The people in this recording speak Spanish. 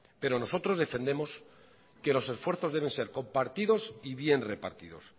pero nosotros defendemos que los esfuerzos deben ser compartidos y bien repartidos